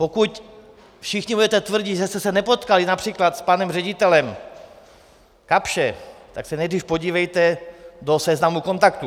Pokud všichni budete tvrdit, že jste se nepotkali například s panem ředitelem Kapsche, tak se nejdřív podívejte do seznamu kontaktů.